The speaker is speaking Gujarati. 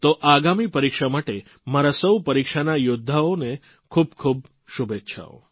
તો આગામી પરીક્ષા માટે મારા સૌ પરીક્ષાના યૌદ્ધાઓને ખૂબખૂબ શુભેચ્છાઓ